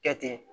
Kɛ ten